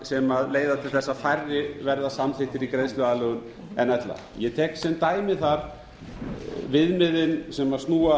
sem leiða til þess að færri verða samþykktir í greiðsluaðlögun en ella ég tek sem dæmi þar viðmiðin sem snúa